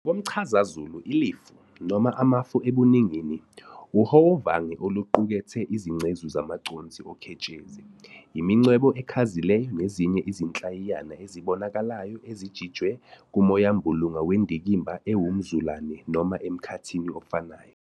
Ngokomchazazulu, ilifu, noma amafu ebuningini, uhowovange oluqukethe izingcezu zamaconsi oketshezi, imincwebe ekhazileyo nezinye izinhlayiyana ezibonakalayo ezijitshwe kumoyambulunga wendikimba ewumzulane noma emkhathini ofanayo.